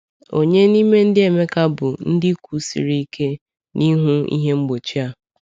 Ònye n’ime ndị Emeka bụ ndị kwụsiri ike n’ihu ihe mgbochi a?